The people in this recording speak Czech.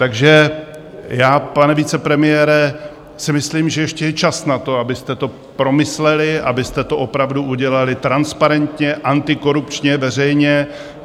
Takže já, pane vicepremiére, si myslím, že ještě je čas na to, abyste to promysleli, abyste to opravdu udělali transparentně, antikorupčně, veřejně.